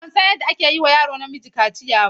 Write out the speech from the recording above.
A'a, ban san yadda ake yi wa yaro namiji kaciya ba.